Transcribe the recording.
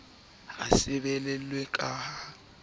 ha sebolelo a ka a